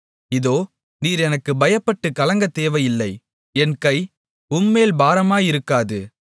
இதோ நீர் எனக்குப் பயப்பட்டுக் கலங்கத் தேவையில்லை என் கை உம்மேல் பாரமாயிருக்காது